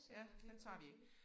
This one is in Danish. Ja den tager vi ikke